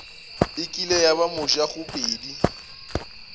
e kile ya ba mojagobedi